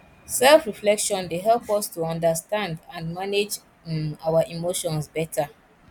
selfreflection dey help us to understand and manage um our emotions beta